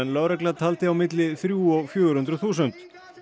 lögregla taldi á milli þrjú og fjögur hundruð þúsund